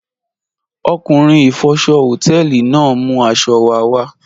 Ọkunrin ifọ̀ṣọ̀ họtẹlì naà n mú aṣọ̀ wà wà